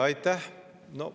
Aitäh!